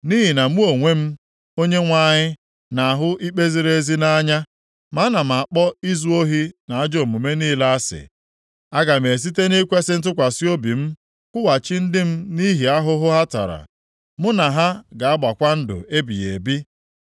“Nʼihi na mụ onwe m, Onyenwe anyị, na-ahụ ikpe ziri ezi nʼanya. Ma ana m akpọ izu ohi na ajọ omume niile asị. Aga m esite nʼikwesị ntụkwasị obi m kwụghachi ndị m nʼihi ahụhụ ha tara, mụ na ha ga-agbakwa ndụ ebighị ebi.